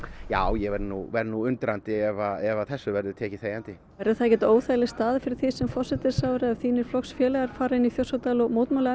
já ég verð nú verð nú undrandi ef þessu verður tekið þegjandi verður það ekkert óþægilegt fyrir þig sem forsætisráðherra ef þínir flokksfélagar fara inn í Þjórsárdal og mótmæla